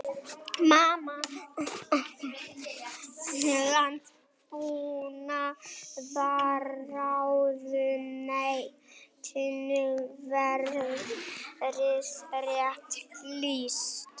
Landbúnaðarráðuneytinu verið rétt lýst.